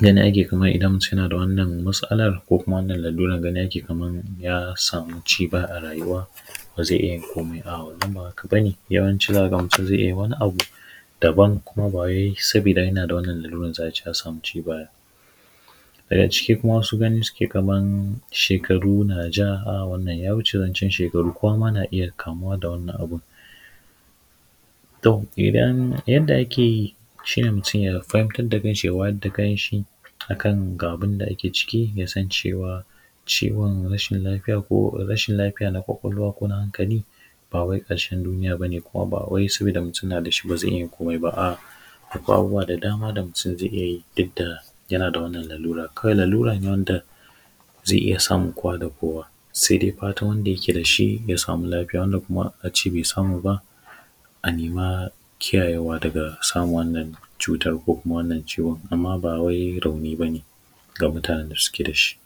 gani ake kaman idan mutum yana da wannan mas’alar ko kuma wannan laruran, gani ake kaman ya samu ci baya a rayuwa, ba zai iya yin komai, a’a, wannan ba haka ba ne, yawanci za ka ga mutum zai iya yin wani abu daban kuma ba wai sabida yana da wannan laruran za a ce ya samu ci baya ba. Daga ciki kuma wasu gani suke kaman shekaru na ja, a’a, wannan ya wuce zancen shekaru, kowa ma na iya kamuwa da wannan abin, to, idan yadda ake yi shi ne mutum ya fahimtar da kanshi, ya wayar da kanshi a kan ga abin da ake ciki, ya san cewa, ciwon rashin lafiya ko rashin lafiya na ƙwaƙwalwa ko na hankali, ba wai ƙarshen duniya ba ne kuma ba wai sabida mutum na da shi, ba zai iya yin komai ba, a’a, akwai abubuwa da dama da mutum zai iya yi duk da yana da wannan larurar. Kawai larura ne wanda zai iya samun kowa da kowa. Sai dai fatan wanda yake da shi, ya samu lafiya, wanda kuma shi bai samu ba, a nima kiyayewa daga samun wannan cuta ko kuma wannan ciwon, amma ba wai rauni ba ne ga mutanen da suke da shi.